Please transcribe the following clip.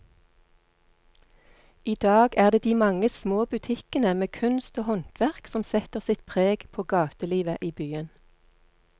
I dag er det de mange små butikkene med kunst og håndverk som setter sitt preg på gatelivet i byen.